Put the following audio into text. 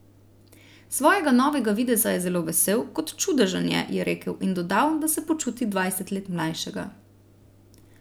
Svojega novega videza je zelo vesel, kot čudežen je, je rekel in dodal, da se počuti dvajset let mlajšega.